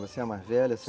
Você é a mais velha?